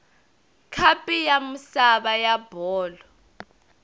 khapu ya misava ya bolo